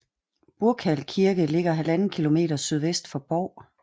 Burkal Kirke ligger 1½ km sydvest for Bov